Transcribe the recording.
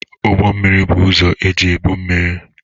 Ụgbọ mmiri. Bụ ụzọ eji ebu mmiri,